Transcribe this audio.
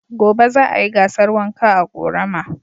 Gobe za a yi gasar wanka a ƙorama.